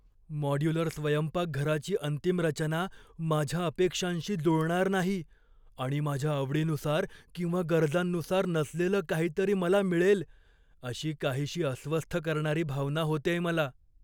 Modular स्वयंपाकघराची अंतिम रचना माझ्या अपेक्षांशी जुळणार नाही आणि माझ्या आवडीनुसार किंवा गरजांनुसार नसलेलं काहीतरी मला मिळेल, अशी काहीशी अस्वस्थ करणारी भावना होतेय मला.